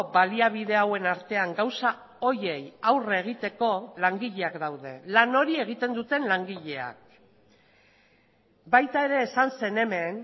baliabide hauen artean gauza horiei aurre egiteko langileak daude lan hori egiten duten langileak baita ere esan zen hemen